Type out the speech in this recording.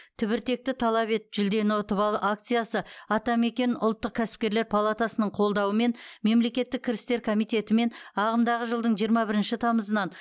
түбіртекті талап ет жүлдені ұтып ал акциясы атамекен ұлттық кәсіпкерлер палатасының қолдауымен мемлекеттік кірістер комитетімен ағымдағы жылдың жиырма бірінші тамызынан